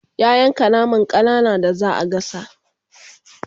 ya yanka naman ƙanana da zaa gasa